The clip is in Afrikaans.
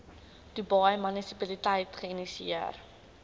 dubai munisipaliteit geïnisieer